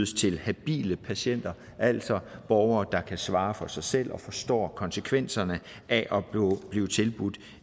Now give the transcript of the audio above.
til habile patienter altså borgere der kan svare for sig selv og forstår konsekvenserne af at blive tilbudt